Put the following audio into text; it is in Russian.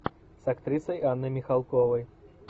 с актрисой анной михалковой